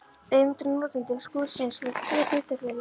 Eigendur og notendur skúrsins voru tvö hlutafélög.